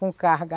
Com carga.